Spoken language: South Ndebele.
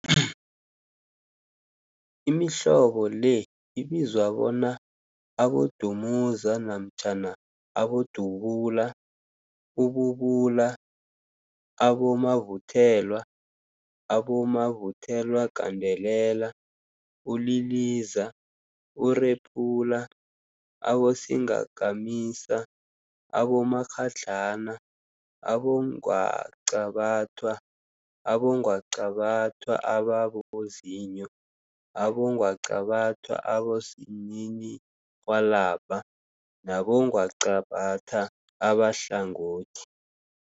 Imihlobo le ibizwa bona, abodumuza namtjhana abodubula, ububula, abomavuthelwa, abomavuthelwagandelela, uliliza, urephula, abosingakamisa, abomakghadlana, abongwaqabathwa, abongwaqabathwa ababozinyo, abongwaqabathwa abosininirhwalabha nabongwaqabatha abahlangothi.